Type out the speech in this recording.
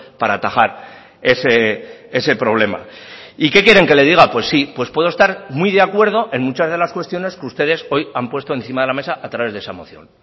para atajar ese problema y qué quieren que le diga pues sí pues puedo estar muy de acuerdo en muchas de las cuestiones que ustedes hoy han puesto encima de la mesa a través de esa moción